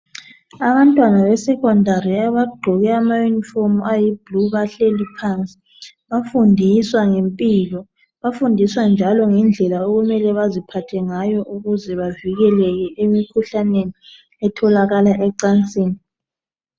Abantwana be secondary abagqoke ama uniform ayi blue bahleli phansi bafundiswa ngempilwa bafundiswa njalo ngendlela okumele baziphathengayo ukuze bavikeleke emikhuhlaneni etholakala ecansini